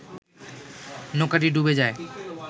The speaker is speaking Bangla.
নৌকাটি ডুবে যায়